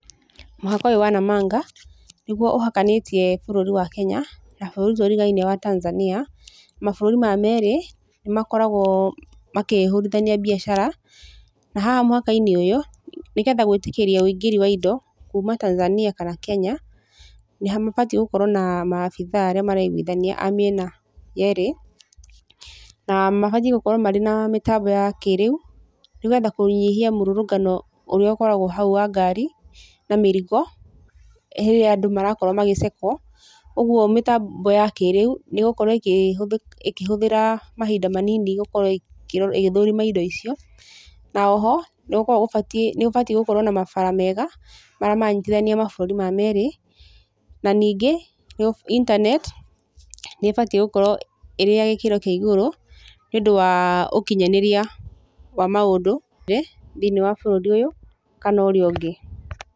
Mũhaka ũyũ wa Namanga, nĩguo ũhakanitiĩ bũrũri wa Kenya na bũrũri tũrigainie wa Tanzania. Mabũrũri maya merĩ, nĩ makoragwo makĩhũrithania biacara. Na haha mũhaka-inĩ ũyũ, nĩgetha gwĩtĩkĩrio wĩingĩri wa indo kuuma Tanzania kana Kenya, nĩ mabatiĩ gũkorwo na maabitha arĩa maraiguithania a mĩena yerĩ. Na mabatiĩ gũkorwo marĩ na mĩtambo ya kĩrĩu, nĩgetha kũnyihia mũrũngano ũrĩa ũkoragwo hau wa ngari, na mĩrigo, rĩrĩa andũ marakorwo magĩcekwo. Ũguo mĩtambo ya kĩrĩu, nĩ ĩgũkorwo ĩkĩhũthĩra mahinda manini gũkorwo ĩgĩthũrima indo icio. Na o ho, nĩ gũkoragwo gũbatiĩ, nĩ gũbatiĩ gũkorwo na mabara mega, maramanyitithania mabũrũri maya merĩ. Na ningĩ internet, nĩ ĩbatiĩ gũkorwo ĩrĩ ya gĩkĩro kĩa igũrũ, nĩ ũndũ wa ũkinyanĩria wa maũndũ thĩiniĩ wa bũrũri ũyũ, kana ũrĩa ũngĩ.